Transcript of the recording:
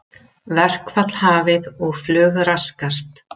Verkfall hafið og flug raskast